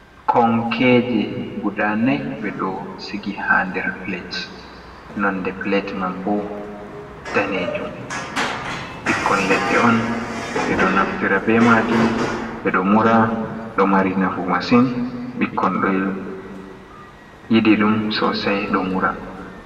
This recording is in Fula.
Konkeje guda nai ɓe ɗo sigi ha der plet nonde plet man bo danejum. ɓikkol leɗɗe on ɓe ɗo naftira be majum be do mura do mari nafu masin ɓikkoi do yidi dum sosai do mura.